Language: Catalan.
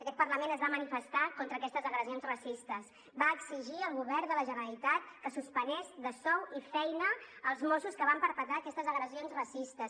aquest parlament es va manifestar contra aquestes agressions racistes va exigir al govern de la generalitat que suspengués de sou i feina els mossos que van perpetrar aquestes agressions racistes